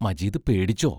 Majeed പേടിച്ചോ?